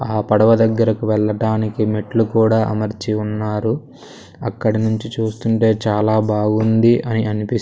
ఆ పడవ దగ్గరకి వెళ్ళడానికి మెట్లు కూడా అమర్చి ఉన్నారు అక్కడ నుంచి చూస్తుంటే చాలా బాగుంది అని అనిపిస్.